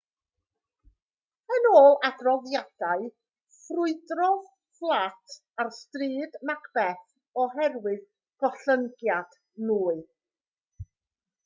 yn ôl adroddiadau ffrwydrodd fflat ar stryd macbeth oherwydd gollyngiad nwy